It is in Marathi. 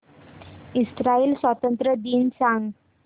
इस्राइल स्वातंत्र्य दिन सांग